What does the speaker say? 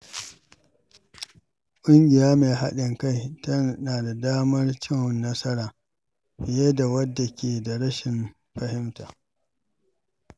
Ƙungiya mai haɗin kai tana da damar cin nasara fiye da wadda ke da rashin fahimta.